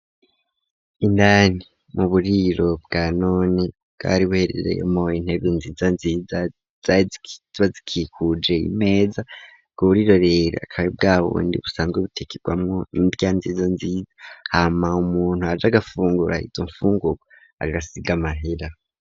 Indani mu buriro bwa none bwari buherereyemwo intebe nziza nziza ziba zikikuje imeza ubwo buriro rero akabe bwa bundi busanzwe butekerwamo indya nziza nziza hama umuntu aje agafungura izo nfungurwa agasiga amahera.